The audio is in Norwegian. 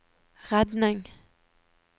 redning